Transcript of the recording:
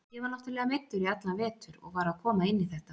Ég var náttúrulega meiddur í allan vetur og var að koma inn í þetta.